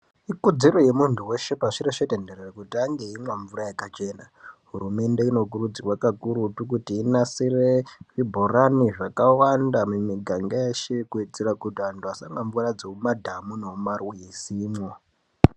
Ikodzero yemuntu weshe pashi reshe tenderere kuti ange eimwa mvura yakachena. Hurumende inokurudzirwa kakurutu kuti inasire zvibhorani zvakawanda mumiganga yeshe kuitira kuti antu asamwa mvura dzemumadhamu nemumarwizimwo.